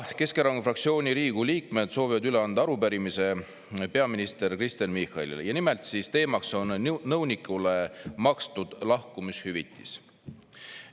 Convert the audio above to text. Täna Keskerakonna fraktsiooni Riigikogu liikmed soovivad üle anda arupärimise peaminister Kristen Michalile ja nimelt teemaks on nõunikule makstud lahkumishüvitis.